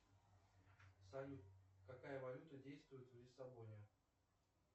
салют какая валюта действует в лиссабоне